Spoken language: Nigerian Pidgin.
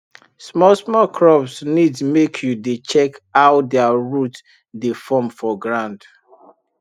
small small crops need make you dey check how their root dey form for ground